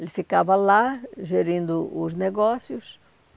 Ele ficava lá gerindo os negócios.